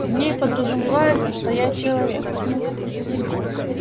в ней подразумевается что я человек